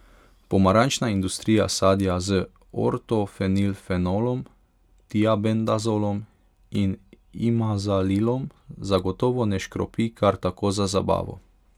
Pomarančna industrija sadja z ortofenilfenolom, tiabendazolom in imazalilom zagotovo ne škropi kar tako za zabavo.